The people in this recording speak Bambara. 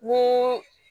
Ni